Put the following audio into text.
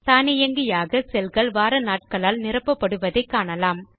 தானியங்கியாக செல்கள் வார நாட்களால் நிரப்பப்படுவதை காணலாம்